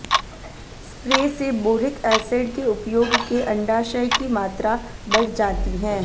spray से boric acid के उपयोग के अंडाशय की मात्रा बढ़ जाती है